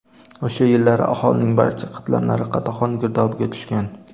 O‘sha yillari aholining barcha qatlamlari qatag‘on girdobiga tushgan.